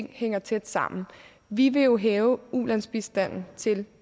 hænger tæt sammen vi vil jo hæve ulandsbistanden til